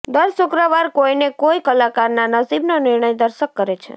દર શુક્રવાર કોઈને કોઈ કલાકારના નસીબનો નિર્ણય દર્શક કરે છે